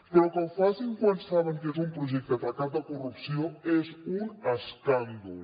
però que ho facin quan saben que és un projecte tacat de corrupció és un escàndol